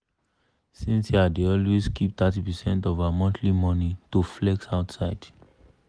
cynthia dey always keep thirty percent of her monthly money to flex outside.